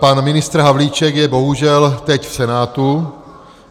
Pan ministr Havlíček je bohužel teď v Senátu.